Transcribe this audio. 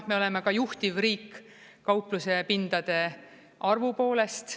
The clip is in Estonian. Me oleme ka juhtiv riik kauplusepindade arvu poolest.